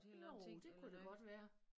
Jo det kunne det godt være